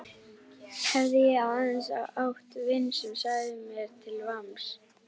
Hefði ég aðeins átt vin sem sagði mér til vamms.